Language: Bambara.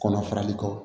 Kɔnɔ farali kɔ